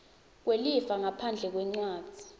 kwelifa ngaphandle kwencwadzi